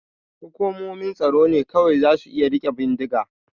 Hukumomin tsaro ne kawai za su iya rike bindiga.